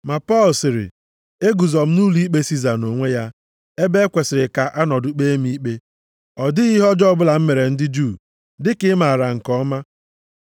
Ma Pọl sịrị, “Eguzo m nʼụlọikpe Siza nʼonwe ya, ebe e kwesiri ka a nọdụ kpee m ikpe. Ọ dịghị ihe ọjọọ ọbụla m mere ndị Juu, dịka ị maara nke ọma.